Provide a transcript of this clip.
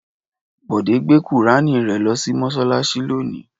Bọ̀dé gbé Kùránì rẹ lọ sí mọ́ṣáláṣí lónìí.